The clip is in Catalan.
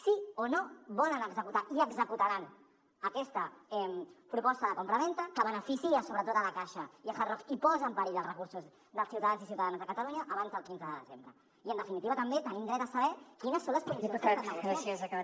sí o no volen executar i executaran aquesta proposta de compravenda que beneficia sobretot la caixa i hard rock i posa en perill els recursos dels ciutadans i ciutadanes de catalunya abans del quinze de desembre i en definitiva també tenim dret a saber quines són les condicions que estan negociant